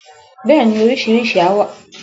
Bẹ́ẹ̀ni, oríṣiríṣi àṣà wà nínú àwọn ayẹyẹ ìbẹ̀rẹ̀.